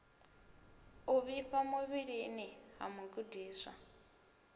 u vhifha muvhilini ha mugudiswa